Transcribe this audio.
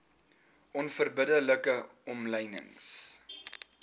onverbidde like omlynings